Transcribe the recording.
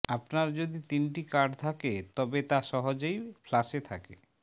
আপনার যদি তিনটি কার্ড থাকে তবে তা সহজেই ফ্লাশে থাকে